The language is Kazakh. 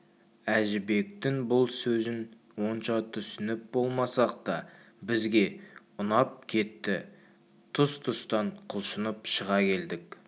әжібектің бұл сөзі онша түсініп болмасақ та бізге ұнап кетті тұс-тұстан құлшынып шыға келдік